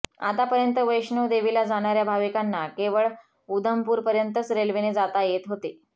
आतापर्यंत वैष्णोदेवीला जाणार्या भाविकांना केवळ उधमपूरपर्यंतच रेल्वेने जाता येत होते